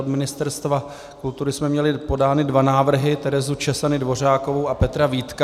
Z Ministerstva kultury jsme měly podány dva návrhy: Terezu Czesany Dvořákovou a Petra Vítka.